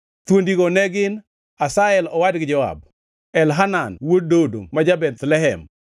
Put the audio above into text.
Thuondigo ne gin: Asahel owadgi Joab, Elhanan wuod Dodo ma ja-Bethlehem,